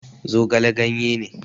Zogale ganye ne